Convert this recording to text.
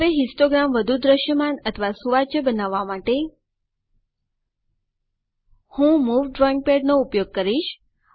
હવે હિસ્ટોગ્રામ વધુ દ્રશ્યમાન અથવા સુવાચ્ય બનાવવા માટે હું મૂવ ડ્રાઇંગ પદ નો ઉપયોગ કરીશ